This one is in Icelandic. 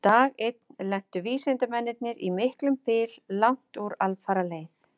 Dag einn lentu vísindamennirnir í miklum byl langt úr alfaraleið.